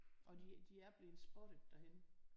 Og de de er blevet spottet derhenne